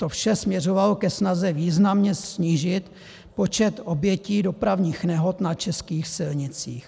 To vše směřovalo ke snaze významně snížit počet obětí dopravních nehod na českých silnicích.